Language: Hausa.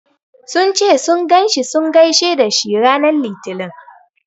Sun ce sun ganshi sun gaishe dashi ranar litinin.